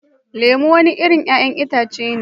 Lemu wani irin 'ya'yan itace ne